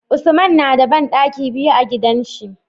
Usman nada banɗaki biyu a gidan shi